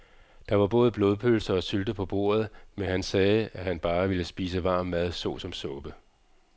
Der var både blodpølse og sylte på bordet, men han sagde, at han bare ville spise varm mad såsom suppe.